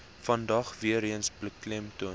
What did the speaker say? vandag weereens beklemtoon